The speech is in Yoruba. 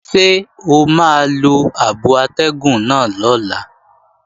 Ṣé o máa lo abo atẹ́gùn náà lọ́la?